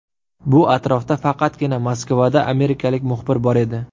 Bu atrofda faqatgina Moskvada amerikalik muxbir bor edi.